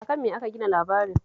A kan me aka gina labarin?